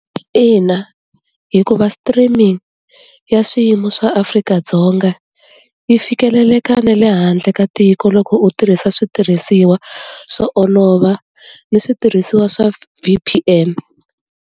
Ina hikuva streaming ya swiyimo swa Afrika-Dzonga yi fikeleleka na le handle ka tiko loko u tirhisa switirhisiwa swo olova ni switirhisiwa swa V_P_N.